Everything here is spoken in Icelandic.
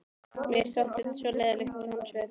Mér þótti þetta svo leiðinlegt hans vegna.